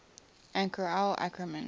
anchor al ackerman